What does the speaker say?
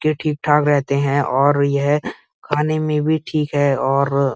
ठीक-ठाक रहते हैं और यह खाने में भी ठीक है और --